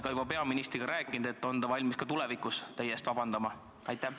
Kas te olete peaministriga juba rääkinud, et on ta valmis ka tulevikus teie eest vabandama?